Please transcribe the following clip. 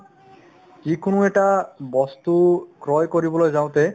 যিকোনো এটা বস্তু ক্ৰয় কৰিবলৈ যাওঁতে